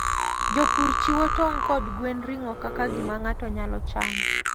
Jopur chiwo tong' kod gwen ring'o kaka gima ng'ato nyalo chamo.